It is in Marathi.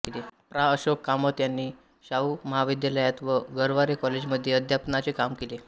प्रा अशोक कामत ह्यांनी शाहू महाविद्यालयात व गरवारे कॉलेजमध्ये अध्यापनाचे काम केले